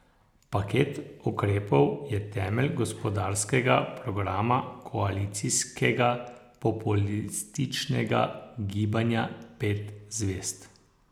Paket ukrepov je temelj gospodarskega programa koalicijskega populističnega Gibanja pet zvezd.